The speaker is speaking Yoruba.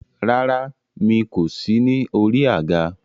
Rárá, mi kò sí ní orí àga.